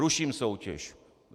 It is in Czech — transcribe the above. Ruším soutěž.